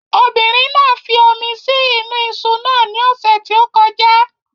Obìnrin náà fi omi sí inú iṣu náà ní ọ̀sẹ̀ tí ó kọjá